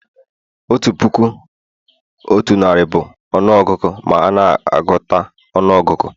otu puku otu narị bụ ọnụ ọgụgụ ma a n'agụta ọnụọgụgụ